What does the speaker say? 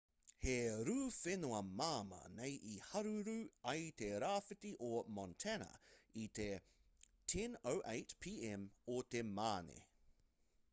he rū whenua māmā nei i haruru ai te rāwhiti o montana i te 10:08 p.m o te mane